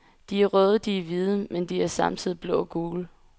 De er røde, de er hvide, men de er samtidig blå og gule.